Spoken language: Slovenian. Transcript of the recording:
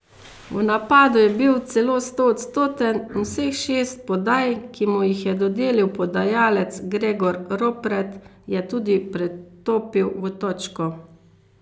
V napadu je bil celo stoodstoten in vseh šest podaj, ki mu jih je dodelil podajalec Gregor Ropret, je tudi pretopil v točko.